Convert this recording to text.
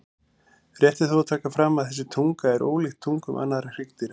Rétt er þó að taka fram að þessi tunga er ólíkt tungum annarra hryggdýra.